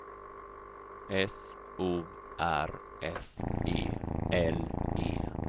S O R S E L E